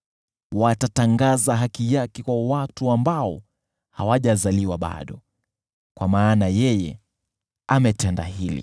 Watatangaza haki yake kwa watu ambao hawajazaliwa bado, kwa maana yeye ametenda hili.